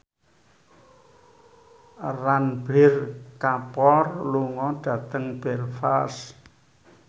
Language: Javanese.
Ranbir Kapoor lunga dhateng Belfast